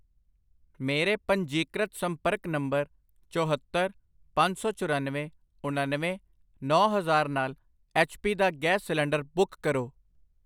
ਮੇਰੇ ਪੰਜੀਕ੍ਰਿਤ ਸੰਪਰਕ ਨੰਬਰ ਚੋਹੱਤਰ, ਪੰਜ ਸੌ ਚੁਰਾਨਵੇਂ, ਉਣਨਵੇਂ, ਨੌਂ ਹਜ਼ਾਰ ਨਾਲ ਐੱਚ ਪੀ ਦਾ ਗੈਸ ਸਿਲੰਡਰ ਬੁੱਕ ਕਰੋ।